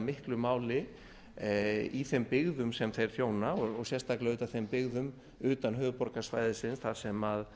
miklu í þeim byggðum sem þeir þjóna og sérstaklega auðvitað þeim byggðum utan höfuðborgarsvæðisins þar sem